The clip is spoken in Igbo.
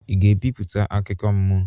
Ị ga-ebipụta akụkọ mmụọ?